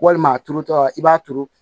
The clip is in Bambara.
Walima a turutɔla i b'a turu